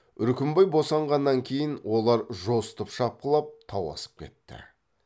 үркімбай босанғаннан кейін олар жосытып шапқылап тау асып кетті